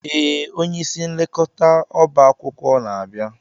Ee, onye isi nlekọta ọba akwụkwọ na-abịa.